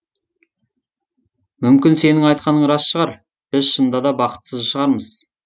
мүмкін сенің айтқаның рас шығар біз шынында да бақытсыз шығармыз